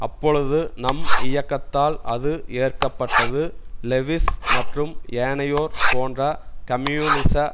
அப்பொழுது நம் இயக்கத்தால் அது ஏற்க பட்டது லெவிஸ் மற்றும் ஏனையோர் போன்ற கம்யூனிச